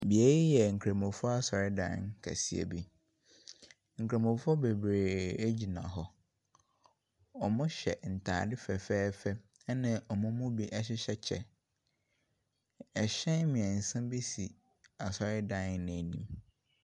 Wei yɛ Nkramofoɔ asɔredan kɛseɛ bi. Nkramofoɔ bebree gyina hɔ. Wɔhyɛ ntadeɛ fɛfɛɛfɛ, ɛna wɔn mu bi hyehyɛ ɛkyɛ. Ɛhyɛn mmeɛnsa bi si asɔredan no anim.